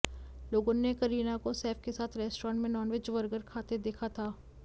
लोगो ने करीना को सैफ के साथ रेस्टोरेंट में नानवेज वर्गर खाते देखा था